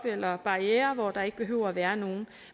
eller barrierer op hvor der ikke behøver at være nogen